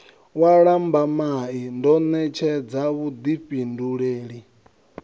wa lambamai ndo ṋetshedza vhuḓifhindulele